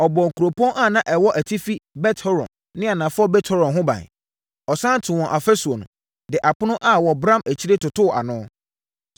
Ɔbɔɔ nkuropɔn a na ɛwɔ atifi Bet-Horon ne anafoɔ Bet-Horon ho ban. Ɔsane too wɔn afasuo no, de apono a wɔbram akyire totoo ano.